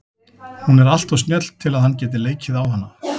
Hún er alltof snjöll til að hann geti leikið á hana.